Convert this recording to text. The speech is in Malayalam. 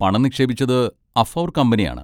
പണം നിക്ഷേപിച്ചത് അഫൗർ കമ്പനിയാണ്.